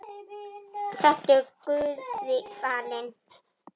Sértu guði falin.